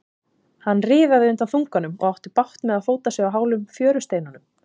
Hann riðaði undan þunganum og átti bágt með að fóta sig á hálum fjörusteinunum.